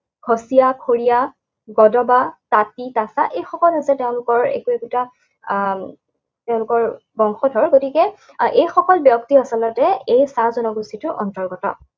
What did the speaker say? খৰিয়া, গজবা, তাঁতী, তাছা, এই সকলো হৈছে তেওঁলোকৰ একো একোটা আহ তেওঁলোকৰ বংশধৰ। গতিকে আহ এইসকল ব্যক্তি আচলতে এই চাহ জনগোষ্ঠীটোৰ অন্তৰ্গত।